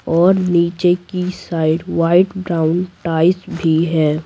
और नीचे की साइड वाइट ब्राउन टाइल्स भी है ।